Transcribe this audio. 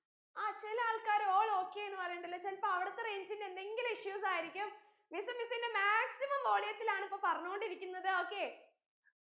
ആ ചെല ആൾകാർ all okay ന്ന് പറീന്നിണ്ടല്ലൊ ചെലപ്പോ അവിടത്തെ range ന്റെ എന്തെങ്കിലും issues ആയിരിക്കും miss miss ന്റെ maximum volume ത്തിലാണ് ഇപ്പൊ പറഞ്ഞോണ്ടിരിക്കുന്നത് okay